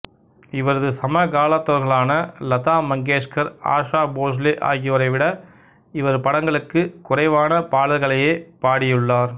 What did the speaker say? இவரது சமகாலத்தவர்களான லதா மங்கேஷ்கர்ஆஷா போஸ்லே ஆகியோரை விட இவர் படங்களுக்கு குறைவான பாடல்களையேப் பாடியுள்ளார்